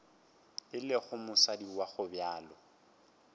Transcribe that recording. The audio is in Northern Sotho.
e lego mosadi wa gobjalo